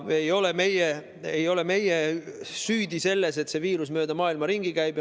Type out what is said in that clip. Ei ole meie süüdi selles, et see viirus mööda maailma ringi käib.